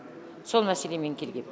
сол мәселемен келгенмін